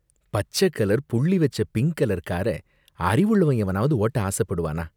பச்ச கலர் புள்ளி வச்ச பிங்க் கலர் கார அறிவுள்ளவன் எவனாவது ஓட்ட ஆசைப்படுவானா?